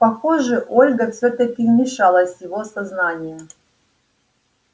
похоже ольга всё-таки вмешалась в его сознание